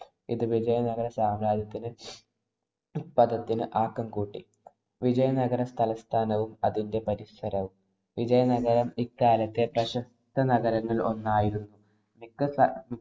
ഇത് വിജയനഗര സാമ്രാജ്യത്തിനു ആക്കം കൂട്ടി. വിജയനഗരതലസ്ഥാനവും അതിന്‍റെ പരിസരവും വിജയനഗരം ഇക്കാലത്തെ പ്രശസ്ത നഗരങ്ങളില്‍ ഒന്നായിരുന്നു.